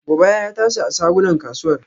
Gobara ya tashi a shagunan kasuwar.